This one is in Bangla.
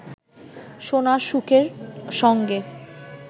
সোনার শুকের সঙ্গে